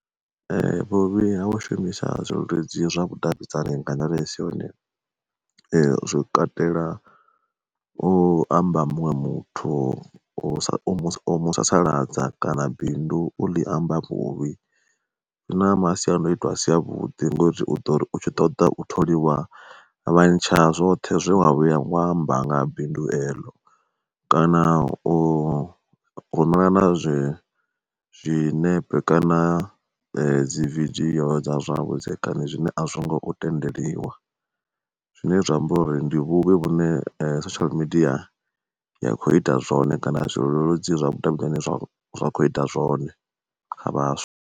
Vhuvhi ha u shumisa zwileludzi zwavhudavhidzani nga nḓila isi yone, zwo katela u amba muṅwe muthu, u musasaladza kana bindu uḽi amba vhuvhi. Zwina masiandoitwa a si a vhuḓi ngori u dori u tshi ṱoḓa u tholiwa vha ntsha zwoṱhe zwe wa vhuya wa amba nga bindu eḽo, kana u rumelana zwi zwiṋepe kana dzi vidio dza zwavhudzekani zwine a zwi ngo tendeliwa. Zwine zwa amba uri ndi vhuvhi vhune social media ya kho ita zwone kana zwileludzi zwavhudavhidzani zwa kho ita zwone kha vhaswa.